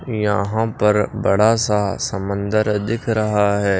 यहां पर बड़ा सा समंदर दिख रहा है।